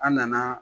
An nana